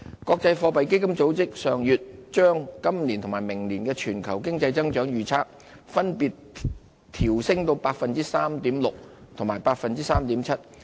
國際貨幣基金組織上月將今年及明年全球經濟的增長預測分別調升至 3.6% 和 3.7%。